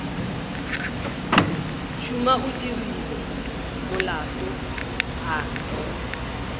tšhuma o dirile molato a